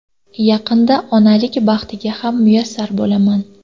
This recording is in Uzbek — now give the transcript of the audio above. Yaqinda onalik baxtiga ham muyassar bo‘laman.